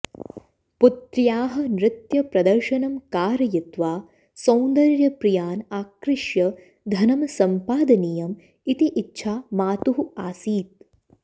पुत्र्याः नृत्यप्रदर्शनं कारयित्वा सौन्दर्यप्रियान् आकृष्य धनं सम्पादनीयम् इति इच्छा मातुः आसीत्